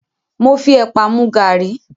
Mo fi ẹ̀pà mu gàrí.